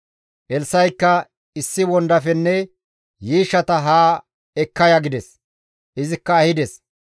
Elssa7ikka, «Issi wondafenne yiishshata haa ekka ya» gides; izikka ehides.